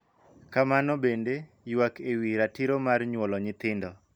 Kamano bende, ywak e wi ratiro mar nyuolo nyithindo,